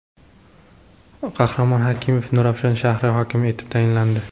Qahramon Hakimov Nurafshon shahri hokimi etib tayinlandi.